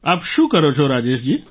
આપ શું કરો છો રાજેશ જી